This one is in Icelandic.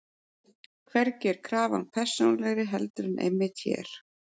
Hvergi er krafan persónulegri heldur en einmitt hér.